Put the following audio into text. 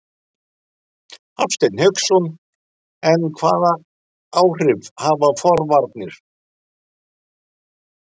Hafsteinn Hauksson: En hvaða áhrif hafa forvarnir?